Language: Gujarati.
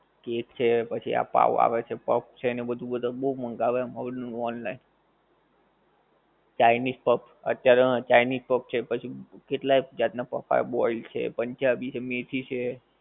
કેક છે, પછી આ પાંવ આવે છે પફ છે ને બધુ બધાં બઉ મંગાવે મોલ નું online. ચાઇનિજ પફ અત્યારે હં ચાઇનિજ પફ છે પછી કેટલાય જાત નાં પફ આવે, boiled છે, પંજાબી છે, મેથી છે